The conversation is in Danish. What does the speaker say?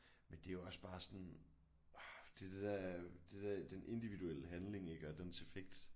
Men det er jo også bare sådan orh det er det der det er det der den individuelle handling ik og dens effekt